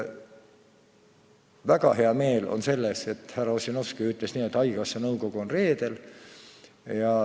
Väga hea meel on selle üle, et härra Ossinovski ütles nii: haigekassa nõukogu koguneb reedel.